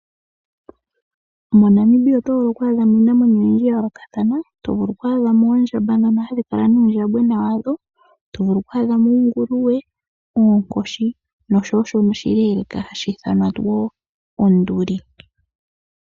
MoNamibia oto vulu ku adhamo iinamwenyo oyindji ya yoolokathana to vulu oku adhamo oondjamba ndhono hadhi kala nuundjambagona wadho, to vulu ku adhamo oonguluwe, oonkoshi nosho wo oshinamwenyo shono oshileeleka hashi ithanwa onduli.